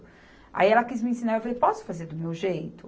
Aí, ela quis me ensinar, eu falei, posso fazer do meu jeito?